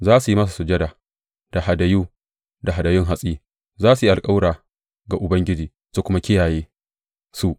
Za su yi masa sujada da hadayu da hadayun hatsi; za su yi alkawura ga Ubangiji su kuma kiyaye su.